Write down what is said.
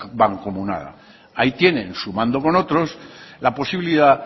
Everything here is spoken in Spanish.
mancomunada ahí tienen sumando con otros la posibilidad